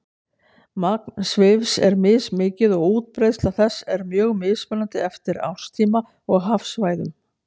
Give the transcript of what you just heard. Magn svifs er mismikið og útbreiðsla þess er mjög mismunandi eftir árstíma og hafsvæðum.